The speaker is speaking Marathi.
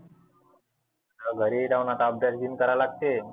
घरी जाऊन आता अभ्यास गिन करा लागते.